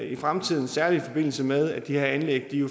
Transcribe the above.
i fremtiden særlig i forbindelse med at de her anlæg